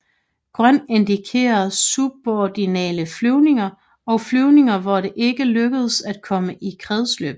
Grøn indikerer suborbitale flyvninger og flyvninger hvor det ikke lykkedes at komme i kredsløb